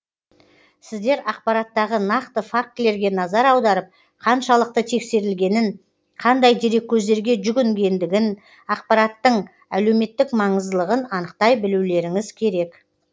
сіздер ақпараттағы нақты фактілерге назар аударып қаншалықты тексерілгенін қандай дереккөздерге жүгінгендігін ақпараттың әлеуметтік маңыздылығын анықтай білулеріңіз керек